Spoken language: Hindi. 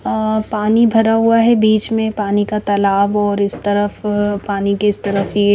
अः पानी भरा हुआ है बीच में पानी का तालाब और इस तरफ पानी के इस तरफ ये--